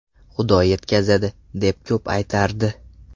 Xudo yetkazadi” deb ko‘p aytardi.